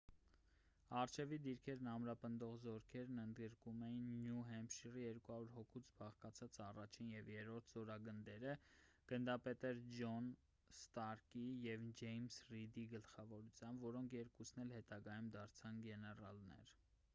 առջևի դիրքերն ամրապնդող զորքերն ընդգրկում էին նյու հեմփշիրի 200 հոգուց բաղկացած 1-ին և 3-րդ զորագնդերը գնդապետներ ջոն ստարկի և ջեյմս րիդի գլխավորությամբ որոնք երկուսն էլ հետագայում դարձան գեներալներ: